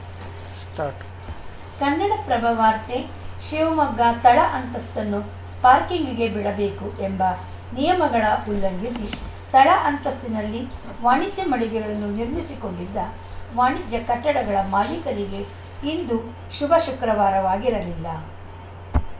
start Kannadaprabha ವಾರ್ತೆ ಶಿವಮೊಗ್ಗ ತಳ ಅಂತಸ್ತನ್ನು ಪಾರ್ಕಿಂಗ್‌ಗೆ ಬಿಡಬೇಕು ಎಂಬ ನಿಯಮಗಳ ಉಲ್ಲಂಘಿಸಿ ತಳ ಅಂತಸ್ತಿನಲ್ಲಿ ವಾಣಿಜ್ಯ ಮಳಿಗೆಗಳನ್ನು ನಿರ್ಮಿಸಿಕೊಂಡಿದ್ದ ವಾಣಿಜ್ಯ ಕಟ್ಟಡಗಳ ಮಾಲೀಕರಿಗೆ ಇಂದು ಶುಭ ಶುಕ್ರವಾರವಾಗಿರಲಿಲ್ಲ